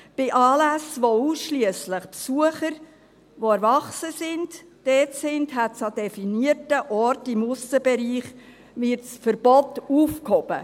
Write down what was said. Bei Anlässen, bei denen ausschliesslich Besucher, die erwachsen sind, da sind, wird an definierten Orten im Aussenbereich das Verbot aufgehoben.